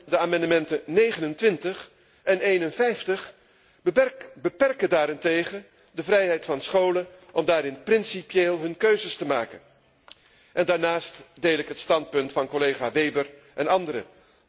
De amendementen 29 en 51 beperken daarentegen de vrijheid van scholen om daarin principieel hun keuzes te maken, en daarnaast deel ik het standpunt van collega Weber en anderen.